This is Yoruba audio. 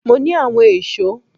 Mo ní àwọn èso